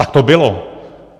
Tak to bylo!